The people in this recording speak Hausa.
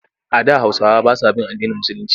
A da Hausawa ba sa bin addinin Musulinci.